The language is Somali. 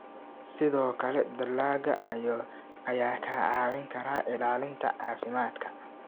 Sidoo kale, dalagga ayaa kaa caawin kara ilaalinta caafimaadka.